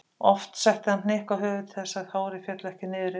Oft setti hann hnykk á höfuðið til þess að hárið félli ekki niður yfir augun.